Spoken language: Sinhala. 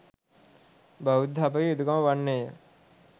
බෞද්ධ අපගේ යුතුකම වන්නේය.